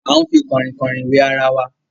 a ń fi Kànrìnkàn wẹ àrà wá.